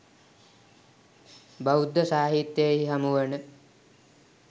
බෞද්ධ සාහිත්‍යයෙහි හමුවන